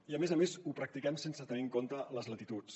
i a més a més ho practiquem sense tenir en compte les latituds